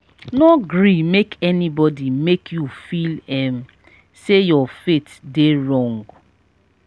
no gree make anybody make you feel um sey you faith dey wrong.